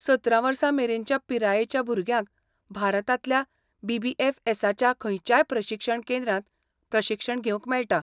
सतरा वर्सां मेरेनच्या पिरायेच्या भुरग्यांक भारतांतल्या बी.बी.एफ.एसा.च्या खंयच्याय प्रशिक्षण केंद्रांत प्रशिक्षण घेवंक मेळटा.